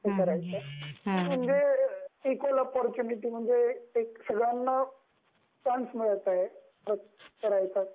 म्हणजे equal opportunity म्हणजे सगळ्यांना एक चान्स मिळत आहे त्या गोष्टीमुळे